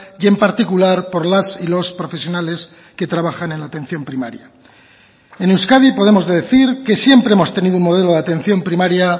y en particular por las y los profesionales que trabajan en atención primaria en euskadi podemos decir que siempre hemos tenido un modelo de atención primaria